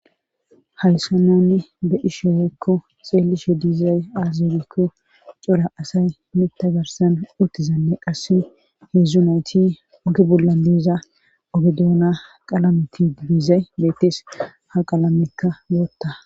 hayssa nunni be'ishe weekko xeellishe diizay aazelikko cora asay mitta garsan uttizanne qasse heedzdzu nayti ogi bollan diiza ogedoona qalameti diizey beettis ha qalamekka wootta